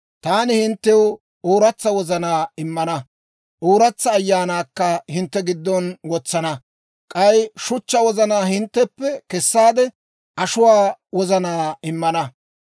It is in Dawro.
«‹ «Taani hinttew ooratsa wozanaa immana; ooratsa ayaanaakka hintte giddon wotsana; k'ay shuchchaa wozanaa hintteppe kessaade, ashuwaa wozanaa immana.